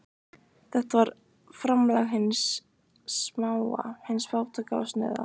Þetta var framlag hins smáa, hins fátæka og snauða.